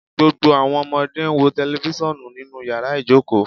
Gbogbo awọn ọmọde n wo tẹlifisiọnu ninu yara ijoko